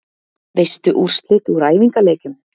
Veistu úrslit úr æfingaleikjum?